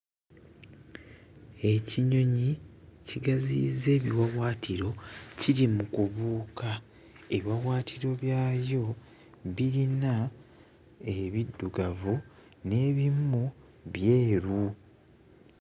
Ekinyonyi kigaziyizza ebiwawaatiro kiri mu kubuuka. Ebiwawaatiro byayo birina ebiddugavu n'ebimu byeru.